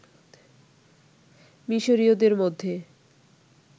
মিশরীয়দের মধ্যে